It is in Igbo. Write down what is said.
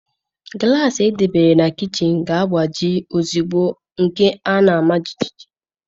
Glassị e debere na kichin ga-agbaji ozugbo nke a maa jijiji